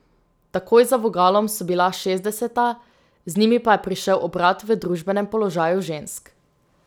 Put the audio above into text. Takoj za vogalom so bila šestdeseta, z njimi pa je prišel obrat v družbenem položaju žensk.